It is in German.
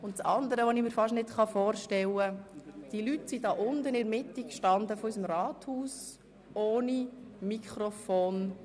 Das andere, das ich mir fast nicht vorstellen kann: Die Leute standen mitten im Saal ohne Mikrofon.